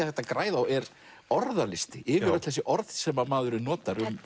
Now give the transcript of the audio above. hægt að græða á er orðalisti yfir öll þessi orð sem maðurinn notar